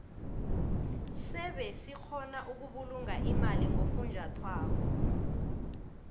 sebe sikgona ukubulunga imali ngofunjathwako